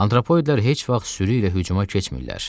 Antropoidlər heç vaxt sürü ilə hücuma keçmirlər.